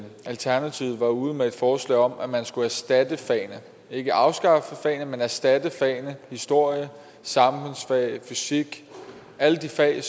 alternativet var ude med et forslag om at man skulle erstatte fagene ikke afskaffe fagene men erstatte fagene historie samfundsfag fysik alle de fag